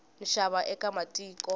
nxava eka vamatiko